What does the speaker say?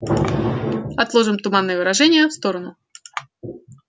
отложим туманные выражения в сторону